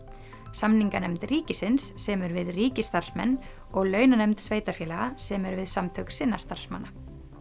samninganefnd ríkisins semur við ríkisstarfsmenn og launanefnd sveitarfélaga semur við samtök sinna starfsmanna